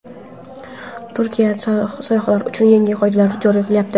Turkiya sayyohlar uchun yangi qoidalar joriy qilyapti.